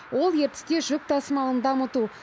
ол ертісте жүк тасымалын дамыту